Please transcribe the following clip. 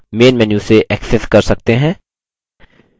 main menu से access कर सकते हैं